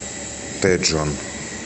тэджон